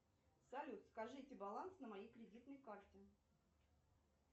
салют скажите баланс на моей кредитной карте